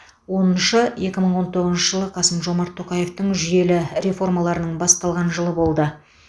оныншы екі мың он тоғызыншы жылы қасым жомарт тоқаевтың жүйелі реформаларының басталған жылы болды